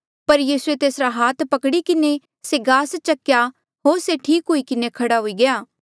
पर यीसूए तेसरा हाथ पकड़ी किन्हें से गास चक्या होर से ठीक हुई किन्हें खड़ा हुई गया